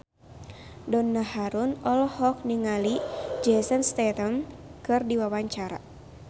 Donna Harun olohok ningali Jason Statham keur diwawancara